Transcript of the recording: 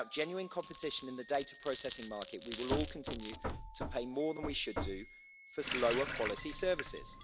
Without genuine competition in the data processing market, we will all continue to pay more than we should do for slower quality services.